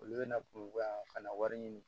Olu bɛna kuruba ka na wari ɲini